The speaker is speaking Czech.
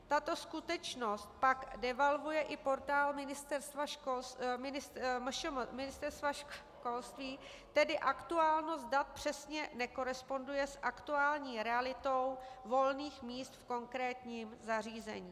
Tato skutečnost pak devalvuje i portál Ministerstva školství, tedy aktuálnost dat přesně nekoresponduje s aktuální realitou volných míst v konkrétním zařízení.